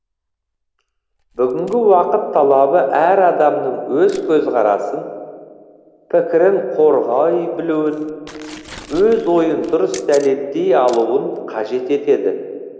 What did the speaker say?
бугінгі уақыт талабы әр адамның өз көзкарасын пікірін қорғай білуін өз ойын дұрыс дәлелдей алуын қажет етеді